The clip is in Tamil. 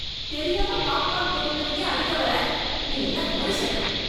தெரியாம பாப்கார்ன் கொட்டினத்துக்கே அடிக்க வர! நீ எல்லாம் மனுசனா ?